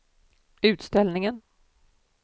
utställningen